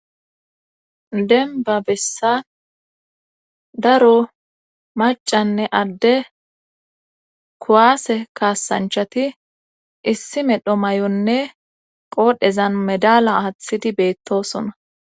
Dembba bessa daro maccanne adde kuwaase kassanchchati issi medho mayonne qoodhezan medaala aathidi beetoosona.